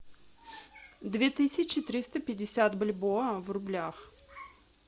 две тысячи триста пятьдесят бальбоа в рублях